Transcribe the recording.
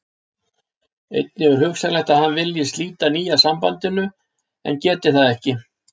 Einnig er hugsanlegt að hann vilji slíta nýja sambandinu en geti það ekki.